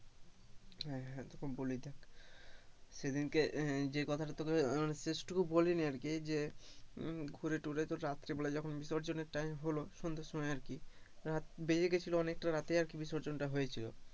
হ্যাঁ হ্যাঁ তোকে বলি দেখ সেদিন কে যে কথাটা তোকে শেষ টুকু বলিনি আর কি যে, ঘুরে তুরে রাত্রে বেলায় যখন বিসর্জনের time হলো সন্ধের সময় আর কি, বেজে গেছিল অনেকটা রাতেই আর কি বিসর্জন টা হয়েছিল,